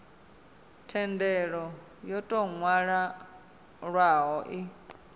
thendelo yo tou nwalwaho i